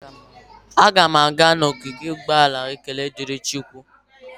Aga m aga n'ogige ụgbọala Ekene Diri Chukwu.